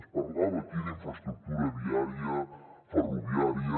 ens parlava aquí d’infraestructura viària ferroviària